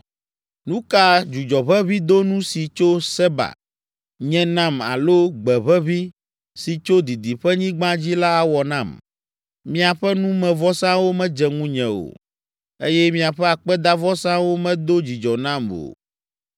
Nu ka dzudzɔʋeʋĩdonu si tso Seba nye nam alo gbeʋeʋĩ si tso didiƒenyigba dzi la awɔ nam? Miaƒe numevɔsawo medze ŋunye o eye miaƒe akpedavɔsawo medo dzidzɔ nam o.”